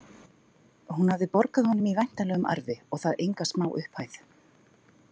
Hún hafði borgað honum í væntanlegum arfi og það enga smá upphæð.